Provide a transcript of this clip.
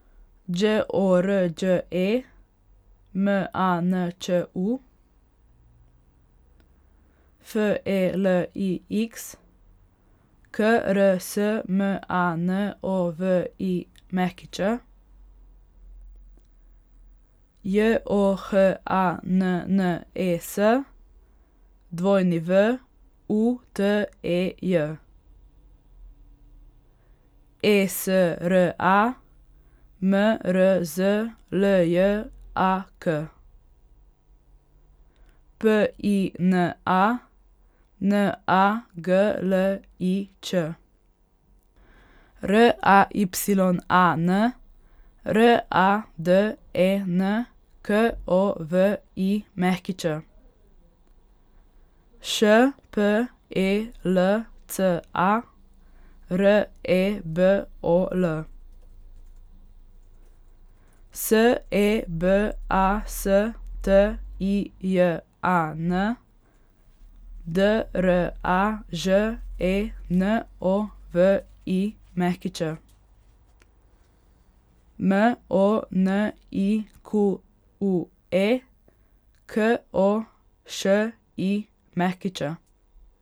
Đ O R Đ E, M A N Č U; F E L I X, K R S M A N O V I Ć; J O H A N N E S, W U T E J; E S R A, M R Z L J A K; P I N A, N A G L I Č; R A Y A N, R A D E N K O V I Ć; Š P E L C A, R E B O L; S E B A S T I J A N, D R A Ž E N O V I Ć; M O N I Q U E, K O Š I Ć.